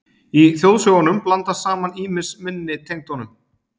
Í þjóðsögunum blandast saman ýmis minni tengd honum.